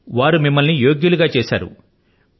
వారు మిమ్ములను ఈ విధమైనటువంటి యోగ్యురాలు గా చేశారు